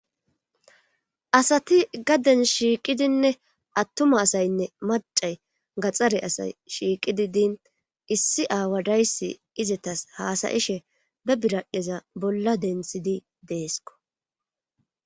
asati gaden shiiqidinne attuma asaynne macay gaxxare asay shiiqidi diin issi aawa daysi izetas haasayishe be biradheza bolla dentshidi deesko